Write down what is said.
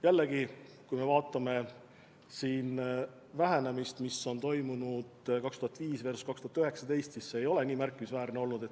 Samas kui me vaatame vähenemist, mis on toimunud perioodil 2005–2019, siis see ei ole nii märkimisväärne olnud.